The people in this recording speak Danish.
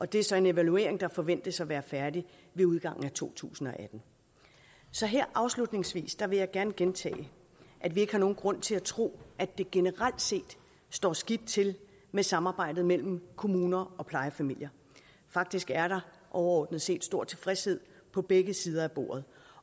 det er så en evaluering der forventes at være færdig ved udgangen af to tusind og atten så her afslutningsvis vil jeg gerne gentage at vi ikke har nogen grund til at tro at det generelt set står skidt til med samarbejdet mellem kommuner og plejefamilier faktisk er der overordnet set stor tilfredshed på begge sider af bordet